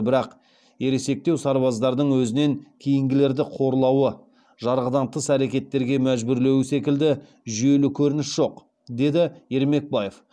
бірақ ересектеу сарбаздардың өзінен кейінгілерді қорлауы жарғыдан тыс әрекеттерге мәжбүрлеуі секілді жүйелі көрініс жоқ деді ермекбаев